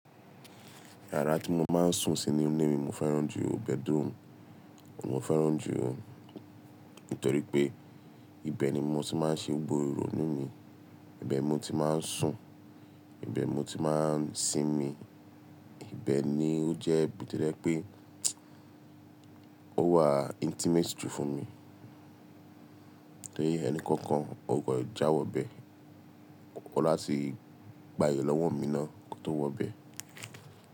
Yàrá tí mo máa ń sùn sí ninu ní mo fẹ́ràn jù bedroom. Òun mo fẹ́ràn jù, nítorí pé ibẹ̀ ni mo ti máa ń ṣe gbogbo ìrònú mi, ibẹ̀ mo ti má ń sùn, ibẹ̀ mo ti má ń sinmi, ibẹ̀ ni ó jẹ́ bí to jẹ̀ pé ó wà intimacy jù fún mi. Enikankan o kan jáwọ̀ bẹ́ẹ̀, o n láti gbaye lọ́wọ́ mi náà kó tó wọ bẹ́ẹ̀.